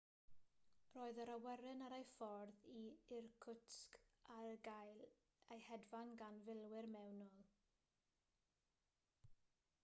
roedd yr awyren ar ei ffordd i irkutsk ac yn cael ei hedfan gan filwyr mewnol